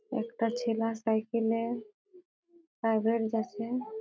একটা চেলা সাইকেল এ প্রাইভেট যাছে ।